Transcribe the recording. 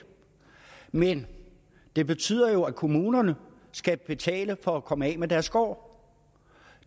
men det betyder jo at kommunerne skal betale for at komme af med deres skår